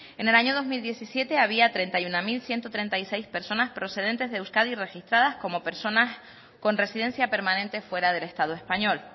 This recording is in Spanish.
en el año dos mil diecisiete había treinta y uno mil ciento treinta y seis personas procedentes de euskadi registradas como personas con residencia permanente fuera del estado español